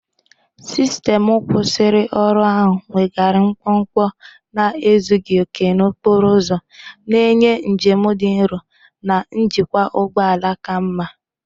Sistemu nkwusioru ahụ weghaara mkpọmkpọ na ezughị okè n'okporo ụzọ, na-enye njem dị nro na njikwa ụgbọ ala ka mma.